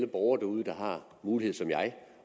borgere derude der har mulighed som jeg